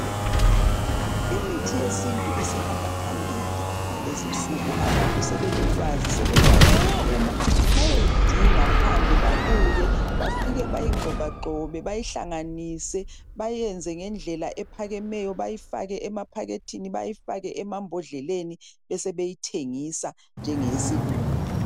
Imithi yesintu isihamba phambili ngalezinsuku. abantu sebelolwazi sebekwazi ukuphuma bayeyidinga phandle babuye bafike bayigxobagxobe bayihlanganise bayenze ngendlela ephakemeyo bayifake emaphakethini bayifake emambondleleni besebeyithengisa njenge yesilungu.